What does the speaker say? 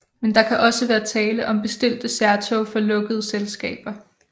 Men der kan også være tale om bestilte særtog for lukkede selskaber